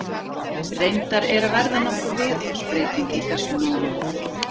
Reyndar er að verða nokkur viðhorfsbreyting í þessum málum.